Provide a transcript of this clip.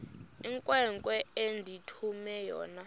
inkwenkwe endithume yona